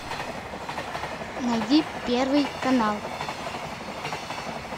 найди первый канал